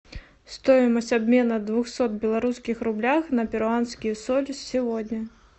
стоимость обмена двухсот белорусских рублях на перуанские соли сегодня